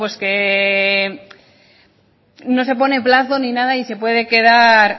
que no se pone plazo ni nada y se puede quedar